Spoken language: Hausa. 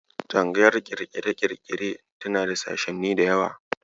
Tsangayar ƙirƙire-ƙirƙire tana da sashenni da yawa.